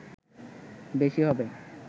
বেশি হবে